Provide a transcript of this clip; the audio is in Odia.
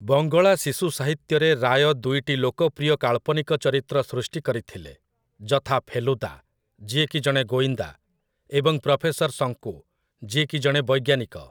ବଙ୍ଗଳା ଶିଶୁ ସାହିତ୍ୟରେ ରାୟ ଦୁଇଟି ଲୋକପ୍ରିୟ କାଳ୍ପନିକ ଚରିତ୍ର ସୃଷ୍ଟି କରିଥିଲେ, ଯଥା, ଫେଲୁଦା, ଯିଏ କି ଜଣେ ଗୋଇନ୍ଦା, ଏବଂ ପ୍ରଫେସର ଶଙ୍କୁ, ଯିଏ କି ଜଣେ ବୈଜ୍ଞାନିକ ।